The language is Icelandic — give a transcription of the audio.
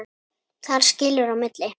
Þar skilur á milli.